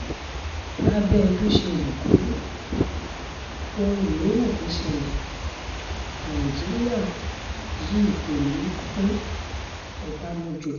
lábẹ́ bó ṣe wù kó rí ohun yòówù kó ṣẹlẹ̀ nàìjíríà yìí kò ní í pín-ọbànújò